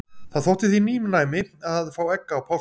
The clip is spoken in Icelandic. Það þótti því nýnæmi að fá egg á páskum.